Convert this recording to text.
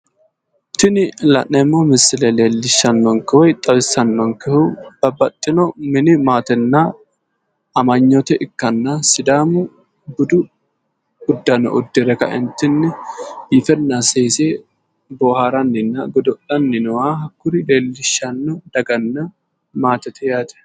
Tini la'neemmo misile leelishanonkehu woyi xawissannonkehu babbaxxino mini maatenna amanyoote ikkanna, sidaamu budu uddano uddire ka"entinni biifenna seese booharanninna godo'lanni nooha hakkuri lellishanno daganna maatete yaate.